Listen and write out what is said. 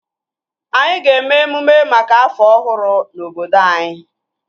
Anyị ga-eme emume maka afọ ọhụrụ na obodo anyị